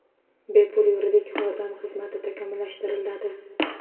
Bepul yuridik yordam tizimi takomillashtiriladi.